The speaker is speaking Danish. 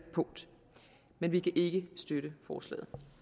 punkt men vi kan ikke støtte forslaget